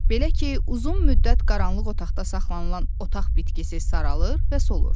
Belə ki, uzun müddət qaranlıq otaqda saxlanılan otaq bitkisi saralır və solur.